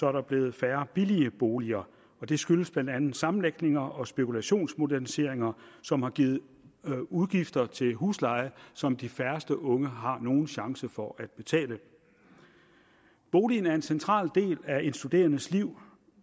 er der blevet færre billige boliger det skyldes blandt andet sammenlægninger og spekulationsmoderniseringer som har givet udgifter til huslejer som de færreste unge har nogen chance for at betale boligen er en central del af en studerendes liv